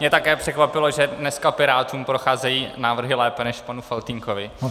Mě také překvapilo, že dneska Pirátům procházejí návrhy lépe než panu Faltýnkovi.